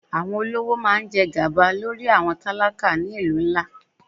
Àwọn olówó máa ń jẹ gàba lórí àwọn tálákà ni ìlú ńlá.